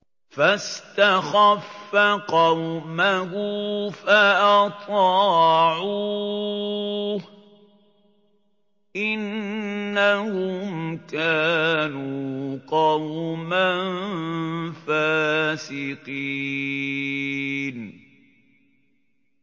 فَاسْتَخَفَّ قَوْمَهُ فَأَطَاعُوهُ ۚ إِنَّهُمْ كَانُوا قَوْمًا فَاسِقِينَ